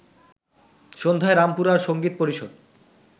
সন্ধ্যায় রামপুরার সঙ্গীত পরিষদ